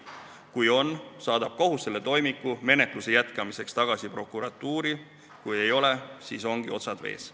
Kui on, saadab kohus selle toimiku menetluse jätkamiseks tagasi prokuratuuri, kui ei ole, siis ongi otsad vees.